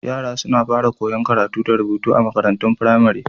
Yara suna fara koyan karatu da rubutu a makarantun firamare.